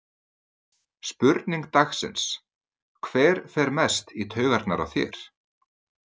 Spurning dagsins: Hver fer mest í taugarnar á þér?